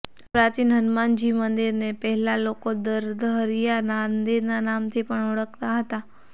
આ પ્રાચીન હનુમાનજી મંદિરને પહેલા લોકો દર્દહરિયા મંદિરના નામથી પણ ઓળખતા હતા